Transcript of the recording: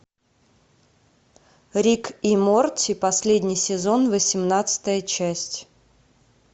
рик и морти последний сезон восемнадцатая часть